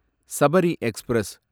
Sabari express